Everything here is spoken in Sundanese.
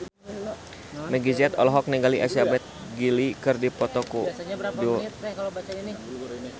Meggie Z olohok ningali Elizabeth Gillies keur diwawancara